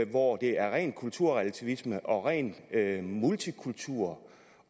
hvor det er rent kulturrelativisme og rent multikultur